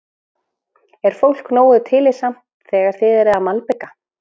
Er fólk nógu tillitsamt þegar þið eruð að malbika?